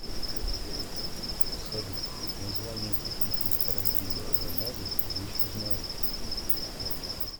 салют названия каких месторождений алмазов вы еще знаете